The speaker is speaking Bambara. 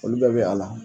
Olu bɛɛ bɛ a la